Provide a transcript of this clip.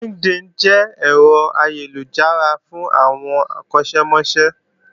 LinkedIn jẹ́ ẹ̀rọ ayélujára fún àwọn akọ́ṣẹ́mọṣẹ́